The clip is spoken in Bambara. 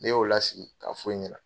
Ne y'o lasigi k'a f'o ɲɛna